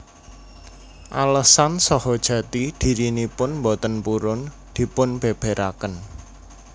Alesan saha jati dhirinipun boten purun dipunbèbèraken